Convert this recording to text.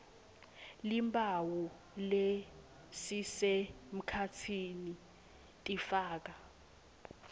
timphawu lesisemkhatsini tifaka